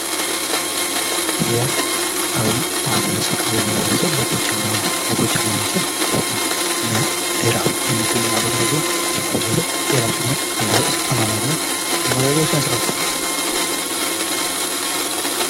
የአዊ ማህበረሰብ ይህ ማህበረሰብ በጎጃም አውራጃ በስተ ምዕራብ የሚገኝ ማህበረሰብ ሲሆን የማህበረሰብ የራሱ የሆነ አለባበስ፣ አኗኗርና አመጋገብ ስነስርአት አለው።